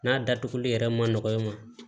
N'a datuguli yɛrɛ ma nɔgɔn i ma